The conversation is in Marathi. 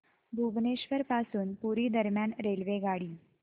भुवनेश्वर पासून पुरी दरम्यान रेल्वेगाडी